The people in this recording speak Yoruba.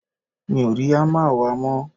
mi ò rí hámà wa mọ́